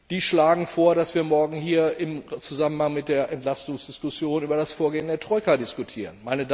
Die schlagen vor, dass wir morgen hier im Zusammenhang mit der Entlastungsdiskussion über das Vorgehen der Troika diskutieren.